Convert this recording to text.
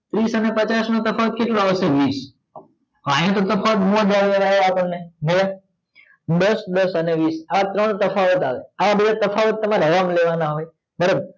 ત્રીસ અને પાંચસ નો તફાવત કેટલો આવસે વીસ દસ દસ અને વીસ આ ત્રણ તફાવત આવે આ બે તફાવત તમાર લેવાના હોય બરોબર